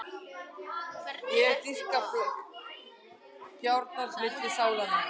Þær dýpka gjárnar milli sálanna.